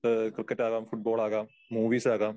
ആ ക്രിക്കറ്റ് ആകാം, ഫുട്ബോൾ ആകാം, മൂവീസ് ആകാം.